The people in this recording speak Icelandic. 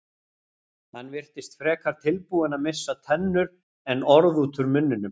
Hann virtist frekar tilbúinn að missa tennur en orð út úr munninum.